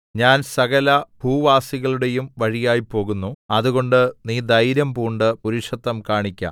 ഞാൻ സകലഭൂവാസികളുടെയും വഴിയായി പോകുന്നു അതുകൊണ്ട് നീ ധൈര്യംപൂണ്ട് പുരുഷത്വം കാണിക്ക